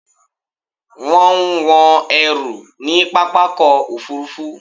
Wọ́n ń wọn ẹrù ní pápákọ̀-òfurufú